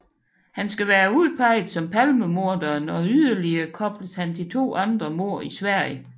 Han skal være udpeget som palmemorderen og yderligere kobles han til to andre mord i Sverige